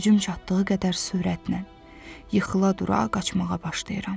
Gücüm çatdığı qədər sürətlə yıxıla dura qaçmağa başlayıram.